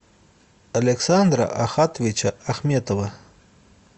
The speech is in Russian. александра ахатовича ахметова